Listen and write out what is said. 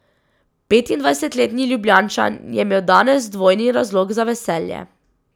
Petindvajsetletni Ljubljančan je imel danes dvojni razlog za veselje.